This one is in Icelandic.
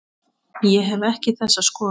Ég hef ekki þessa skoðun.